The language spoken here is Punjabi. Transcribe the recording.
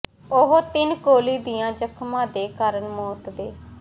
ਉਹ ਤਿੰਨ ਗੋਲੀ ਦੀਆਂ ਜ਼ਖ਼ਮਾਂ ਦੇ ਕਾਰਨ ਮੌਤ ਦੇ